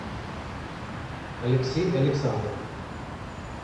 алексей александров